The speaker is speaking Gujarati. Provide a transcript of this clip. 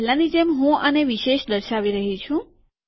અને પહેલાની જેમ હું આને વિશેષ દર્શાવી રહ્યો છું